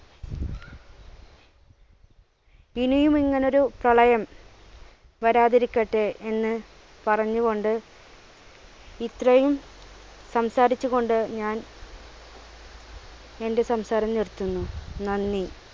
ഇനിയും ഇങ്ങനെയൊരു പ്രളയം വരാതിരിക്കട്ടെ എന്ന് പറഞ്ഞുകൊണ്ട് ഇത്രയും സംസാരിച്ച് കൊണ്ട് ഞാൻ എൻ്റെ സംസാരം നിർത്തുന്നു. നന്ദി,